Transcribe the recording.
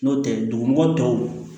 N'o tɛ dugumɔgɔ tɔw